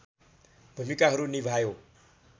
भूमिकाहरू निभायो